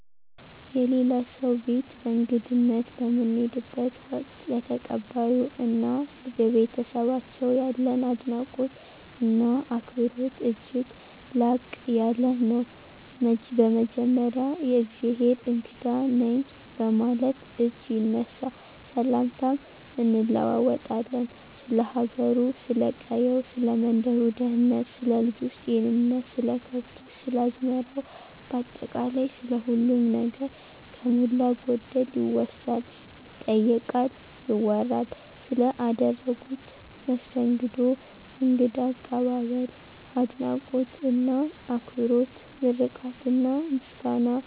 የሌላ ሰው ቤት በእንግድነት በምንሄድበት ወቅት፣ ለተቀባዮ እና ለቤተሰባቸው ያለን አድናቆት እና አክብሮት እጅግ ላቅ ያለ ነው። በመጀመሪያ የእግዜሄር እንግዳ ነኝ በማለት እጅ ይነሳ፣ ሰላምታም እንለዋወጣለን፣ ስለ ሀገሩ፥ ስለ ቀየው፥ ሰለ መንደሩ ደህንነት፥ ስለ ልጆች ጤንነት፥ ስለ ከብቶች፥ ስለ አዝመራው ባጠቃላይ ስለ ሁሉም ነገር ከሞላ ጎደል ይወሳል፥ ይጠየቃል፥ ይወራል። ስለ አደረጉት መስተንግዶ እንግዳ አቀባበል፤ አድናቆት እና አክብሮት ምርቃትና ምስጋና፣